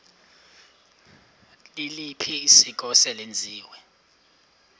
liliphi isiko eselenziwe